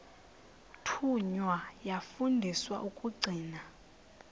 thunywa yafundiswa ukugcina